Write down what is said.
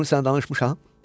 Bunu sənə danışmışam?